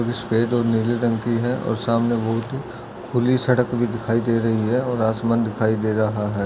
सफेद और नीले रंग की है और सामने बहुत ही खुली सड़क भी दिखाई दे रही है और आसमान दिखाई दे रहा है।